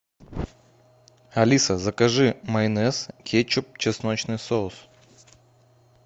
алиса закажи майонез кетчуп чесночный соус